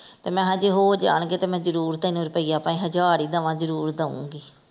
ਤੇ ਮੈਂ ਹਾ ਜੇ ਹੋ ਜਾਣਗੇ ਤੇ ਮੈਂ ਜਰੂਰ ਤੈਨੂੰ ਰੁਪਈਆ ਭਾਵੇਂ ਹਜਾਰ ਹੀ ਦਵਾਂ ਜਰੂਰ ਦਊਂਗੀ।